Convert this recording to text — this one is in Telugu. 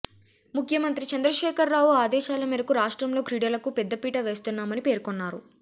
ముఖ్యమంత్రి చంద్రశేఖర్ రావు ఆదేశాల మేరకు రాష్ట్రంలో క్రీడలకు పెద్దపీట వేస్తున్నామని పేర్కొన్నారు